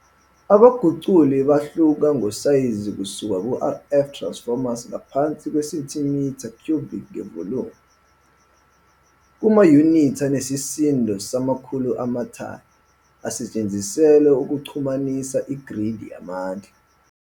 Abaguquli bahla ngosayizi kusuka ku-RF Transformers ngaphansi kwesentimitha cubic ngevolumu, kumayunithi anesisindo samakhulu amathani asetshenziselwa ukuxhumanisa igridi yamandla.